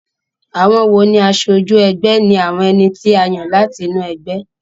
Àwon wo ní asojú egbé ni àwon eni tí a yàn láti inú egbé